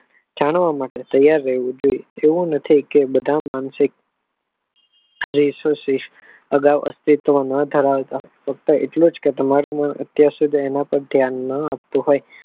જાણવા માટે ત્યાર રહેવું જોઈએ એવું નથી કે બધા માનસિક અશોસિસ અગાવ અસ્થિત્વ ના ધરાવતા હોય ફક્ત તમારે એમાં પણ ધ્યાન ના આપવું હોય.